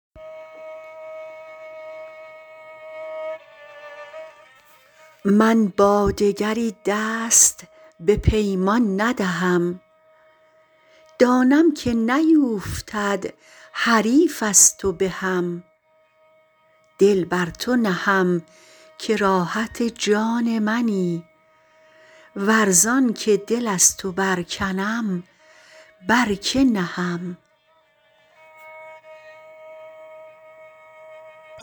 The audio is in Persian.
من با دگری دست به پیمان ندهم دانم که نیوفتد حریف از تو بهم دل بر تو نهم که راحت جان منی ور زانکه دل از تو برکنم بر که نهم